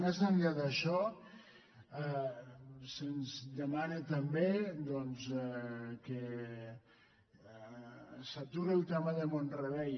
més enllà d’això se’ns demana també doncs que s’a·turi el tema de mont·rebei